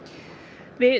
við